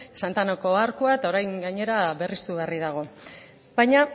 santa anako arkua eta orain gainera berristu berri dago baina